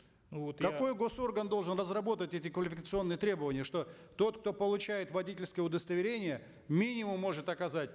ну вот я какой госорган должен разработать эти квалификационные требования что тот кто получает водительское удостоверение минимум может оказать